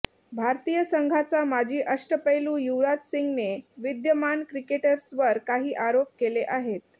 भारतीय संघाचा माजी अष्टपैलू युवराज सिंगने विद्यमान क्रिकेटर्सवर काही आरोप केले आहेत